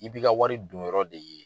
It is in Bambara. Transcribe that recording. I bi ka wari don yɔrɔ de ye